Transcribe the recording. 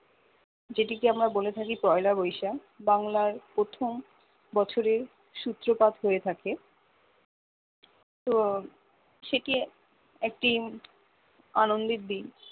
যেটি কে আমরা বলে থাকি পয়লা বৈশাখ বাংলায় প্রথম বছরে সূত্রপাত হয়ে থাকে তো সেটি একটি আনন্দের দিন